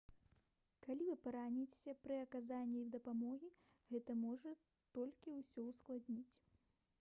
калі вы параніцеся пры аказанні дапамогі гэта можа толькі ўсё ўскладніць